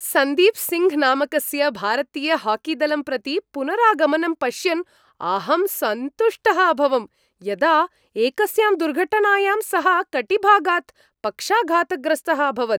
सन्दीप् सिङ्घ् नामकस्य भारतीयहाकीदलं प्रति पुनरागमनं पश्यन् अहं सन्तुष्टः अभवं, यदा एकस्यां दुर्घटनायां सः कटिभागात् पक्षाघातग्रस्तः अभवत्।